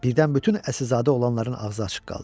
Birdən bütün əsilzadə olanların ağzı açıq qaldı.